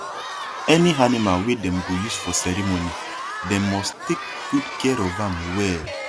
any animal wey dem go use for ceremony dem must take good care of am well